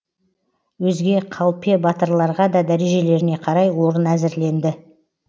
өзге қалпе батырларға да дәрежелеріне қарай орын әзірленді